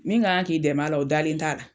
Min k'an ka k'i dɛmɛ la o dalen t'a la.